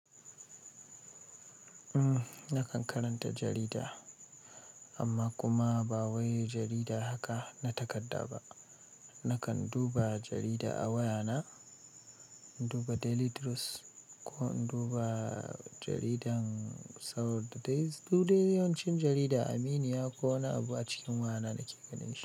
Nakan karanta jarida, amma kuma ba wai jarida haka na takadda ba. Nakan duba jarida a wayana, duba Daily Trust ko duba jaridar Saud Day. Kodai yawancin jarida Aminiya ko wani abu a cikin wayana nake ganin shi.